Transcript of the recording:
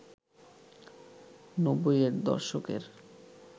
৯০-এর দশকের